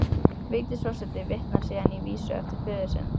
Vigdís forseti vitnar síðan í vísu eftir föður sinn: